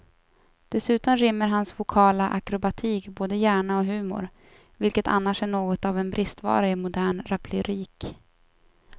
Dessutom rymmer hans vokala akrobatik både hjärna och humor, vilket annars är något av en bristvara i modern raplyrik.